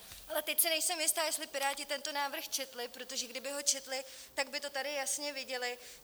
Ale teď si nejsem jista, jestli piráti tento návrh četli, protože kdyby ho četli, tak by to tady jasně viděli.